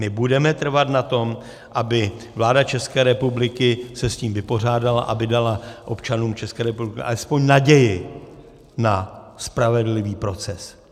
My budeme trvat na tom, aby vláda České republiky se s tím vypořádala, aby dala občanům České republiky alespoň naději na spravedlivý proces.